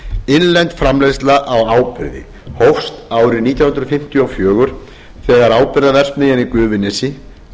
innlend framleiðsla á áburði hófst árið nítján hundruð fimmtíu og fjögur þegar áburðarverksmiðjan í gufunesi